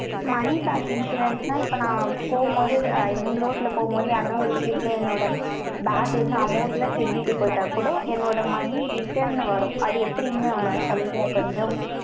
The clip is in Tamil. money back insurance இருந்துச்சுன்னா, இப்ப நான் போகும்போது, road ல போகும்போது, யாருண ஒரு திருடன் என்னோட bag வந்து, amount ல திருடிட்டு போயிட்ட கூட, என்னோட money return ன்னு வரும். அது எப்படின்னு சொல்றேன்யா, கொஞ்சம்